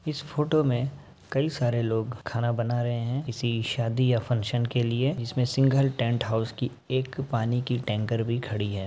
इस फोटो में कई सारे लोग खाना बना रहें हैं किसी शादी या फंशन के लिए जिसमे सिंघल टेंट हाउस की एक पानी की टेंकर भी खड़ी है।